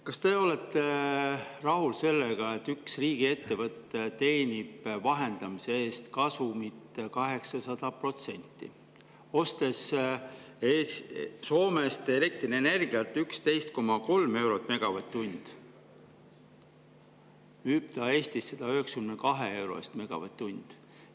Kas te olete rahul sellega, et üks riigiettevõte teenib vahendamise eest kasumit 800%, ostes Soomest elektrienergiat hinnaga 11,3 eurot megavatt-tund ja müües Eestis 192 euro eest megavatt-tund?